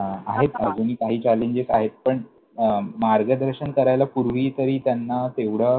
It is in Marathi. आहेत अजूनही काही Challenges आहेत पण अं मार्गदर्शन करायला पूर्वी तरी त्यांना तेवढं,